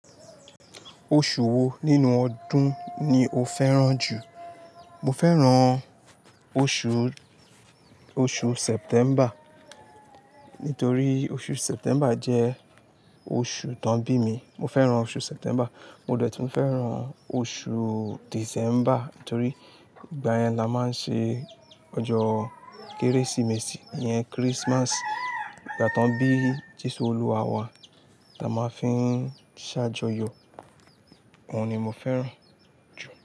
Oṣù wo nínú ọdún ni o fẹ́ràn jù? Mo fẹ́ràn oṣù, oṣù September nítorí oṣù September jẹ́ oṣù tán bí mi. Mo fẹ́ràn oṣù September. Mo dẹ̀ tún fẹ́ràn oṣù December nítorí ìgbà yẹn la máa ń ṣe ọjọ́ Kérésìmesì yẹn, Christmas. Ìgbà tán bí Jésù olúwa wa, ta máa fi ń ṣàjọyọ̀. Òun ni mo fẹ́ràn jù.